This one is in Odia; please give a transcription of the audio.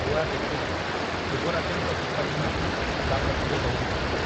କୁଆ ଦେଖିଲା, ଯୁବରାଜଙ୍କ ସିପାହୀମାନେ, ତା' ପଛରେ ଦୌଡ଼ୁଛନ୍ତି ।